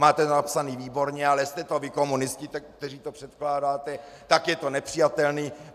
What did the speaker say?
Máte to napsané výborně, ale jste to vy, komunisti, kteří to předkládáte, tak je to nepřijatelné.